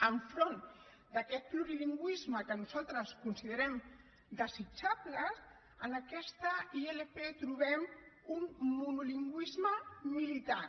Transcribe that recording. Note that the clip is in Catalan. enfront d’aquest plurilingüisme que nosaltres considerem desitjable en aquesta ilp trobem un monolingüisme militant